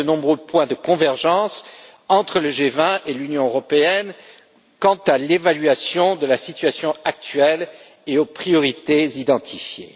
Il y a de nombreux points de convergence entre le G20 et l'Union européenne quant à l'évaluation de la situation actuelle et aux priorités identifiées.